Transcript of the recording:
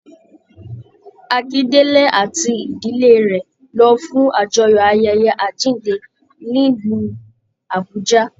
Akindele àti ìdílé rẹ lọ fún àjọyọ̀ ayẹyẹ àjínde nílu Abùjá.